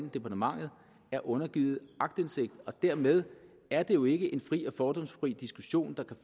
departementet er undergivet aktindsigt og dermed er det jo ikke en fri og fordomsfri diskussion der